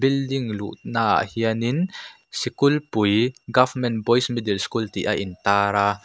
building luhna ah hianin sikulpui government boys middle school tih a in tar a.